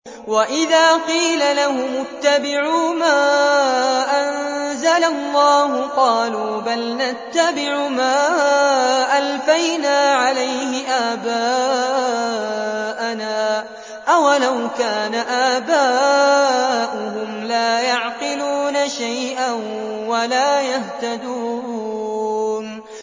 وَإِذَا قِيلَ لَهُمُ اتَّبِعُوا مَا أَنزَلَ اللَّهُ قَالُوا بَلْ نَتَّبِعُ مَا أَلْفَيْنَا عَلَيْهِ آبَاءَنَا ۗ أَوَلَوْ كَانَ آبَاؤُهُمْ لَا يَعْقِلُونَ شَيْئًا وَلَا يَهْتَدُونَ